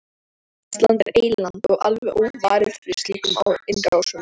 Ísland er eyland og alveg óvarið fyrir slíkum innrásum.